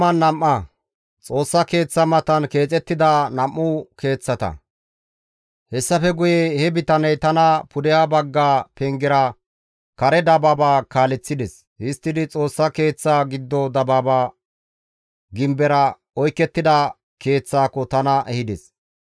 Hessafe guye he bitaney tana pudeha bagga pengera kare dabaaba kaaleththides; histtidi Xoossa Keeththa giddo dabaaba gimbera oykettida keeththaako tana ehides.